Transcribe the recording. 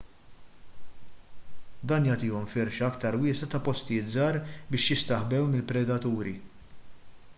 dan jagħtihom firxa aktar wiesgħa ta' postijiet żgħar biex jistaħbew mill-predaturi